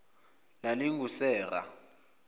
lalingusera